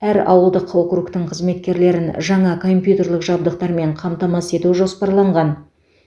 әр ауылдық округтің қызметкерлерін жаңа компьютерлік жабдықтармен қамтамасыз ету жоспарланған